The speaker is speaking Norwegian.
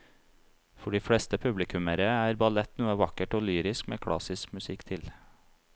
For de fleste publikummere er ballett noe vakkert og lyrisk med klassisk musikk til.